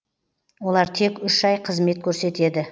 олар тек үш ай қызмет көрсетеді